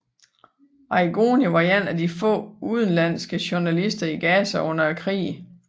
Arrigoni var en af de få udenlandske journalister i Gaza under krigen